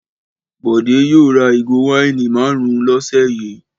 Bọ̀dé yóò ra ìgò wáìnì márùn-ún lọ́sẹ̀ yìí.